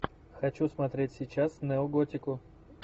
хочу смотреть сейчас неоготику